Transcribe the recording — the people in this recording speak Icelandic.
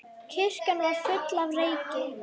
Kirkjan var full af reyk.